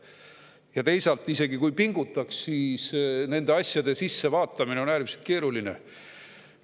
Ja teisalt, isegi kui pingutada, on nende asjade sisse vaatamine äärmiselt keeruline.